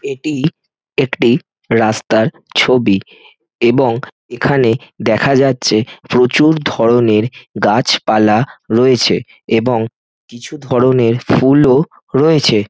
এটি একটি রাস্তার ছবি এবং এখানে দেখা যাচ্ছে প্রচুর ধরণের গাছপালা রয়েছে এবং কিছু ধরণের ফুল ও রয়েছে।